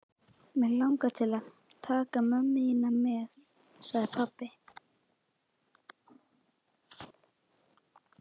Mig langar til að taka mömmu þína með sagði pabbi.